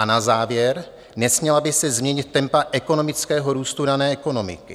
A na závěr, nesměla by se změnit tempa ekonomického růstu dané ekonomiky.